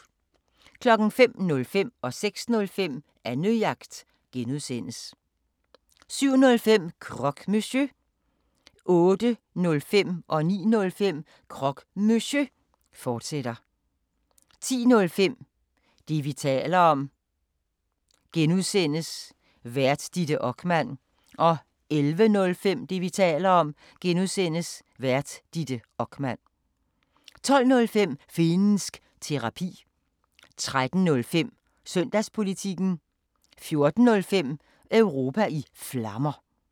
05:05: Annejagt (G) 06:05: Annejagt (G) 07:05: Croque Monsieur 08:05: Croque Monsieur, fortsat 09:05: Croque Monsieur, fortsat 10:05: Det, vi taler om (G) Vært: Ditte Okman 11:05: Det, vi taler om (G) Vært: Ditte Okman 12:05: Finnsk Terapi 13:05: Søndagspolitikken 14:05: Europa i Flammer